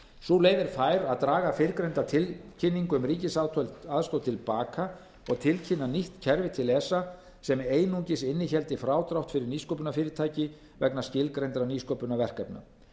sú leið er fær að draga fyrrnefnda tilkynningu um ríkisaðstoð til baka og tilkynna nýtt kerfi til esa sem einungis innihéldi frádrátt fyrir nýsköpunarfyrirtæki vegna skilgreindra nýsköpunarverkefna